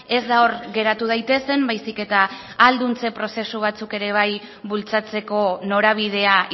ez da hor geratu daitezen baizik eta ahalduntze prozesu batzuk ere bai bultzatzeko norabidea